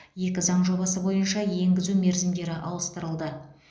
екі заң жобасы бойынша енгізу мерзімдері ауыстырылды